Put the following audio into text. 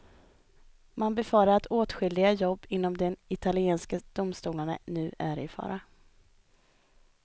Man befarar att åtskilliga jobb inom de italienska domstolarna nu är i fara.